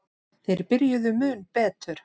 Þeir byrjuðu mun betur.